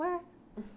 Ué?